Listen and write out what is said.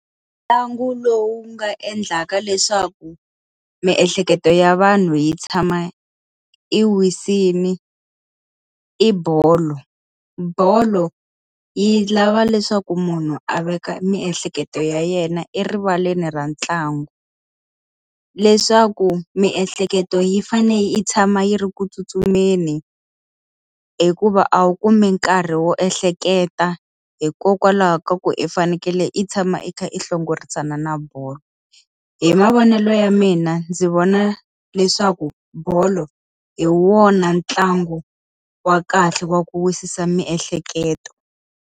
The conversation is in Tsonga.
Ntlangu lowu nga endlaka leswaku miehleketo ya vanhu yi tshama yi wisile i bolo. Bolo yi lava leswaku munhu a veka miehleketo ya yena erivaleni ra ntlangu. Leswaku miehleketo yi fanele yi tshama yi ri ku tsutsumeni, hikuva a wu kumi nkarhi wo ehleketa hikokwalaho ka ku i fanekele i tshama i kha i hlongorisana na bolo. Hi mavonelo ya mina, ndzi vona leswaku bolo hi wona ntlangu wa kahle wa ku wisisa miehleketo.